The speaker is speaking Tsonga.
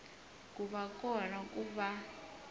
ku va kona ku va